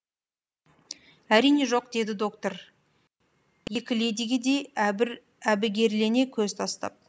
әрине жоқ деді доктор екі ледиге де әбігерлене көз тастап